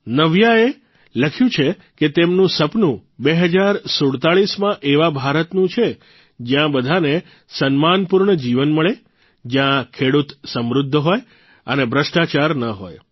નવ્યાએ લખ્યું છે કે તેમનું સપનું ૨૦૪૭માં એવા ભારતનું છે જયાં બધાને સન્માનપૂર્ણ જીવન મળે જયાં ખેડૂત સમૃદ્ધ હોય અને ભ્રષ્ટાચાર ન હોય